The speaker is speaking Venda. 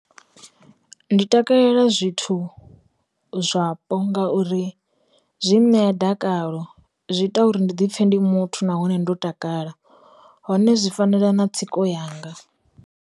Ndi takalela zwithu zwapo ngauri, zwi ṋea dakalo zwi ita uri ndi dipfe ndi muthu nahone ndo takala hone zwi fanela na tsiko yanga.